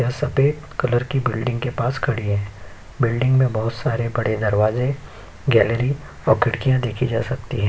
यह सफ़ेद कलर की बिल्डिंग के पास खड़ी है। बिल्डिंग में बोहोत सारे बड़े दरवाजे गैलरी और खिड़कियाँ देखी जा सकती हैं।